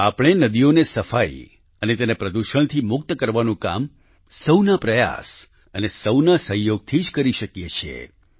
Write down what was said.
આપણે નદીઓને સફાઈ અને તેને પ્રદૂષણથી મુક્ત કરવાનું કામ સહુના પ્રયાસ અને સહુના સહયોગથી જ કરી શકીએ છીએ